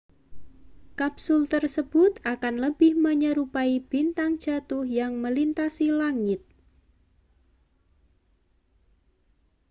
kapsul tersebut akan lebih menyerupai bintang jatuh yang melintasi langit